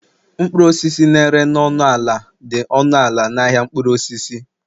mkpụrụ osisi na-ere na ọnụ ala dị ọnụ ala na ahịa mkpụrụ osisi